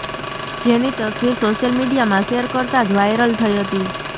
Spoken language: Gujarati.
જેની તસ્વીર સોશિયલ મીડિયામાં શેર કરતા જ વાયરલ થઇ હતી